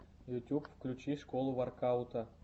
ютьюб включи школу воркаута